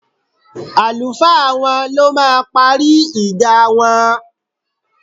Àlùfáà wọn ló máa parí ìjà wọn